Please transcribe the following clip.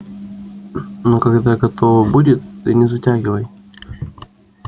ну когда готово будет ты не затягивай